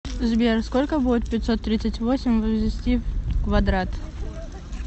сбер сколько будет пятьсот тридцать восемь возвести в квадрат